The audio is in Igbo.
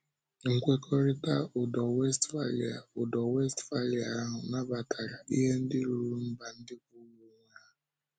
Nkwekọrịtà Ùdò Wéstphália Ùdò Wéstphália ahụ nabatàrà ihe ndị rùrù mba ndị kwụụrụ onwe ha.